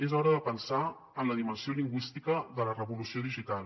és hora de pensar en la dimensió lingüística de la revolució digital